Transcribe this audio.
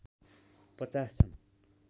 ५० छन्